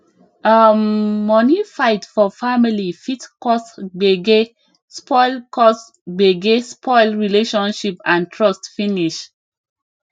um money fight for family fit cause gbege spoil cause gbege spoil relationship and trust finish